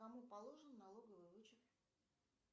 кому положен налоговый вычет